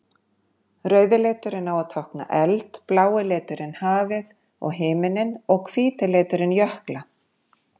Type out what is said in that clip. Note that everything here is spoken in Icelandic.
Rauði liturinn á að tákna eld, blái liturinn hafið og himininn og hvíti liturinn jökla.